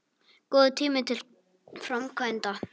Góður tími til framkvæmda